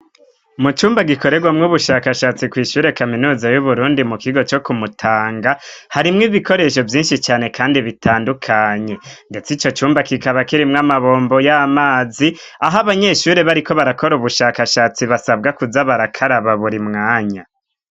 Mu cumba gikorerwamwo ubushakashatsi kw'ishure kaminuza y'Uburundi mu kigo co ku Mutanga, harimwo ibikoresho binshi cane kandi bitandukanye. Ndetse ico cumba kikaba kirimwo amabombo y'amazi, aho abanyeshure bariko barakora ubushakashatsi basabwa kuza barakaraba buri mwanya.